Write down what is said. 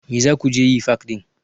Me za ku je yi fak ɗin?